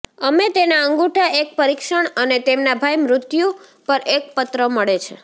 અમે તેના અંગૂઠા એક પરીક્ષણ અને તેમના ભાઇ મૃત્યુ પર એક પત્ર મળે છે